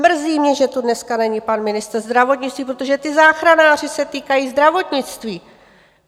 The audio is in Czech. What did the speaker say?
Mrzí mě, že tu dneska není pan ministr zdravotnictví, protože ti záchranáři se týkají zdravotnictví.